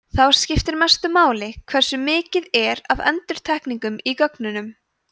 þá skiptir mestu máli hversu mikið er af endurtekningum í gögnunum